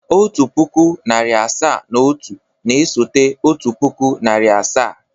Otu pụkụ, narị asaa na otu na-esote otu puku na narị asaa.